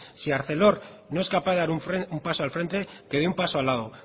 si arcelor no es capaz de dar un paso al frente que dé un paso al lado